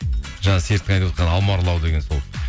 жаңа серіктің айтып отқаны алма ұрлау деген сол